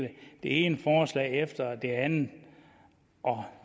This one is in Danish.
det ene forslag efter det andet og